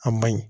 A ma ɲi